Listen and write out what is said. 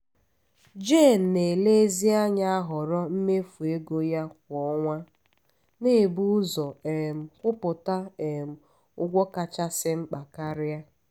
jen na-elezianya ahoro mmefu ego ya kwa ọnwa na-ebu ụzọ um kwụpụta um ụgwọ kachasi mkpa karia